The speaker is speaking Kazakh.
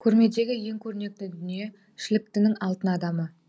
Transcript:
көрмедегі ең көрнекті дүние шіліктінің алтын адамы